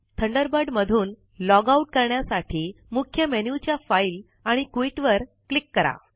Thunderbird मधून log out करण्यासाठी मुख्य मेन्यू च्या फाइल आणि क्विट वर क्लिक करा